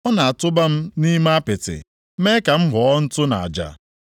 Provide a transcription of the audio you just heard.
Ọ na-atụba m nʼime apịtị, mee ka m ghọọ ntụ na aja.